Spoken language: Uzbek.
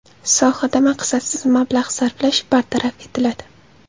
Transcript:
Sohada maqsadsiz mablag‘ sarflash bartaraf etiladi.